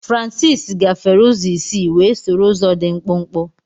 Francis gafere ụzọ isi wee soro ụzọ dị mkpụmkpụ.